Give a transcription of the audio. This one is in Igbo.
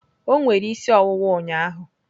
O nwere isi ọwụwa ụnyaahụ.